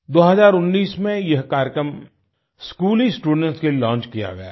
2019 में यह कार्यक्रम स्कूली स्टूडेंट्स के लिए लॉन्च किया गया था